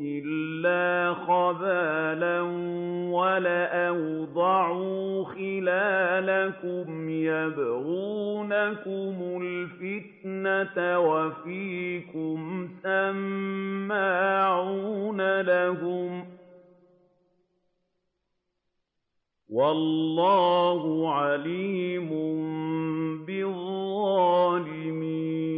إِلَّا خَبَالًا وَلَأَوْضَعُوا خِلَالَكُمْ يَبْغُونَكُمُ الْفِتْنَةَ وَفِيكُمْ سَمَّاعُونَ لَهُمْ ۗ وَاللَّهُ عَلِيمٌ بِالظَّالِمِينَ